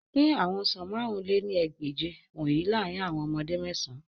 Pin awọn ọsan màrún lé ní ẹgbẹ́je wọnyi laarin awọn ọmọde mean